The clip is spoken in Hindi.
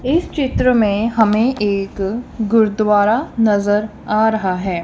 इस चित्र में हमें एक गुरुद्वारा नजर आ रहा है।